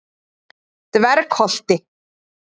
Dvergholti